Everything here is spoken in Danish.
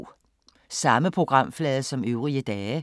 Samme programflade som øvrige dage